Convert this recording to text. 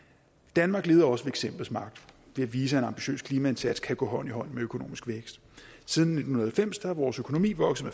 danmark leder også ved eksemplets magt ved at vise at en ambitiøs klimaindsats kan gå hånd i hånd med økonomisk vækst siden nitten halvfems er vores økonomi vokset